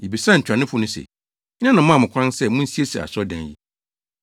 Yebisaa ntuanofo no se, “Hena na ɔmaa mo kwan sɛ munsiesie asɔredan yi?”